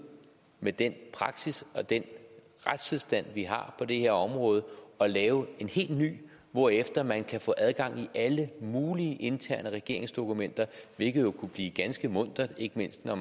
med den praksis og den retstilstand vi har på det her område og lave en helt ny hvorefter man kan få adgang til alle mulige interne regeringsdokumenter hvilket jo kunne blive ganske muntert ikke mindst med